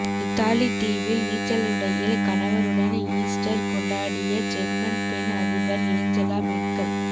Italy தீவில் நீச்சலுடையில் கணவருடன் ஈஸ்டர் கொண்டாடிய ஜெர்மன் பெண் அதிபர் ஏஞ்சலா மெர்க்கல்